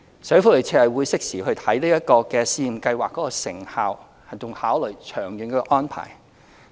社署會適時檢視這項試驗計劃的成效，並考慮長遠的安排。